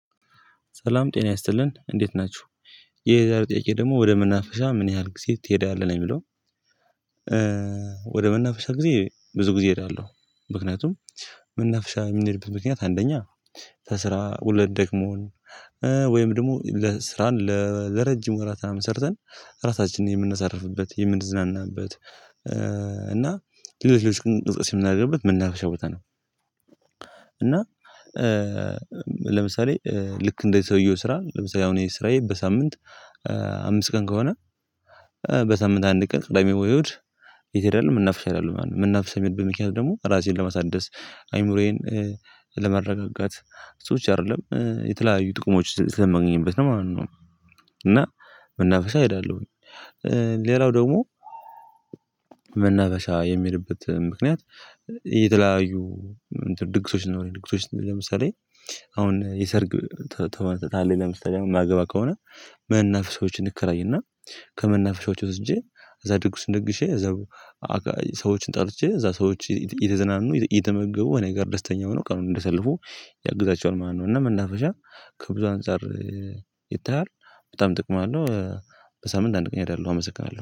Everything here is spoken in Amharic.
ሰላም ጤና ይስጥልን እንዴት ናችሁ። የዛሬው ጥያቄ ደግሞ ወደ መናፈሻ ምን ያህል ጊዜ ትሄዳለህ ነው የሚለው? ወደ መናፍሻ ጊዜ ብዙ ጊዜ እሄዳለሁ። ምክንያቱም መናፍሻ የሚንሄድበት ምክንያት አንደኛ ከስራ ወለን ደክሞን ወይም ደግሞ ለስራን ለረጅም ወራትን ምናምን ሰርተን ራሳችንን የምናሰርፍበት የምንዝናናበት እና ሌሎች ሌሎች እንቅስቀሴ የምናደርግበት መናፍሻ ቦታ ነው። እና ለምሳሌ ልክ እንደ ሰውየው ስራ ለምሳሌ እኔ ስራዬ በሳምንት አምስት ቀን ከሆነ በሳምንት አንድ ቀን ቅዳሜ ወይ እሁድ የት ሄዳለው መናፍሻ እሄዳለሁ ማለት ነው። መናፍሻ የሚሄድበት ምክንያት ደግሞ ራሴን ለማሳደስ አይምሮዬን ለመረጋጋት እሱ ብቻ አይደለም የተለያዩ ጥቁሞች ስለማግኘት ነው ማለት ነው። እና መናፈሻ እሄዳለሁኝ። ሌላው ደግሞ መናፈሻ የሚሄድበት ምክንያት። የተለያዩ ድግሶች ስኖሩ ድግሶች ለምሳሌ አሁን የሰርግ ተመ ካለኝ ለምሳሌ የማገባ ከሆነ መናፍሻዎችን እንከራይና ከመናፍሻዎች ወስጄ እዚያ ድጉስ ድግሼ እዛው ሰዎችን ጠርቼ እዚያ ሰዎች እየተዝናኑ እየተመገቡ እኔ ጋር ደስተኛ ሆነው ቀኑን እንደያሰልፉ ያግዛቸውን ማለት ነው። እና መናፈሻ ከብዙ አንፃር ይታያል በጣም ጥቅም አለው። በሳምንት አንድ ቀን እሄዳለሁ አመስግናለሁ